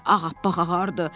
Rəngi ağappaq ağardı.